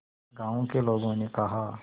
गांव के लोगों ने कहा